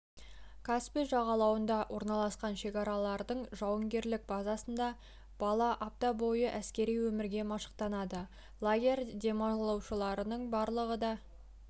каспий жағалауында орналасқан шекарашылардың жауынгерлік базасында бала апта бойы әскери өмірге машықтанады лагерь демалушыларының барлығы да